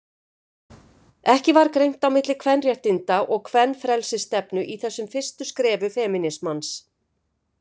Ekki var greint á milli kvenréttinda- og kvenfrelsisstefnu í þessum fyrstu skrefum femínismans.